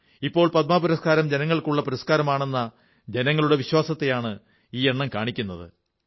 ഇപ്പോൾ പദ്മ പുരസ്കാരം ജനങ്ങൾക്കുള്ള പുരസ്കാരമാണെന്ന ജനങ്ങളുടെ വിശ്വാസത്തെയാണ് ഈ എണ്ണം കാണിക്കുന്നത്